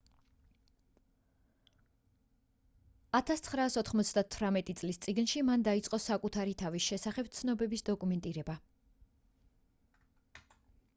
1998 წლის წიგნში მან დაიწყო საკუთარი თავის შესახებ ცნობების დოკუმენტირება